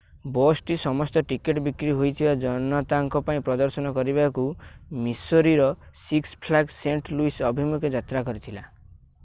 ବସ୍‌ଟି ସମସ୍ତ ଟିକେଟ୍ ବିକ୍ରି ହୋଇଥିବା ଜନତାଙ୍କ ପାଇଁ ପ୍ରଦର୍ଶନ କରିବାକୁ ମିସୋରୀର ସିକ୍ସ ଫ୍ଲାଗ୍ସ ସେଣ୍ଟ୍ ଲୁଇସ୍ ଅଭିମୁଖେ ଯାତ୍ରା କରିଥିଲା।